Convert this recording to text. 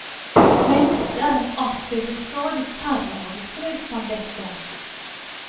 Mennesker er en art det blir stadig færre av i strøk som dette.